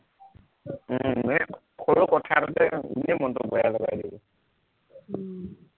উম এৰ সৰু কথাটোতে এনেই মনটো বেয়া লগাই দিয়ে উম